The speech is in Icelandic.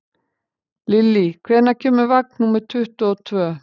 Lilly, hvenær kemur vagn númer tuttugu og tvö?